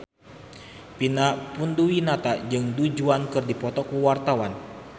Vina Panduwinata jeung Du Juan keur dipoto ku wartawan